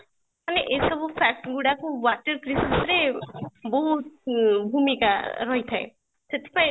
ଆମେ ଏଇ ସବୁ fact ଗୁଡ଼ାକୁ water crisis ରେ ବହୁତ ଅମ୍ ଭୂମିକା ରହିଥାଏ ସେଥି ପାଇଁ